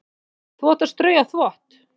Þú átt að strauja þvott.